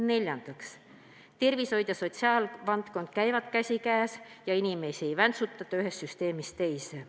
Neljandaks, tervishoid ja sotsiaalvaldkond käivad käsikäes ja inimesi ei väntsutata ühest süsteemist teise.